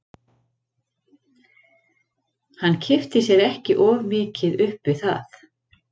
Hann kippti sér ekki of mikið upp við það.